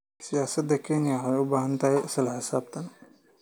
Siyaasadda Kenya waxay u baahan tahay isla xisaabtan.